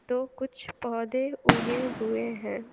तो कुछ पौधे उगे हुए हैं।